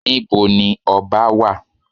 Níbo ni ọba wà?